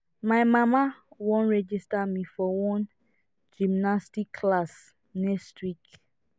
my mama wan register me for one gymnastics class next week